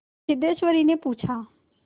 सिद्धेश्वरीने पूछा